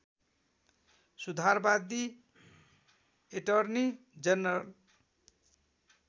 सुधारवादी attorney general